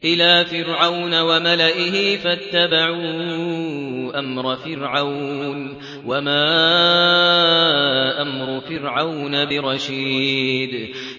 إِلَىٰ فِرْعَوْنَ وَمَلَئِهِ فَاتَّبَعُوا أَمْرَ فِرْعَوْنَ ۖ وَمَا أَمْرُ فِرْعَوْنَ بِرَشِيدٍ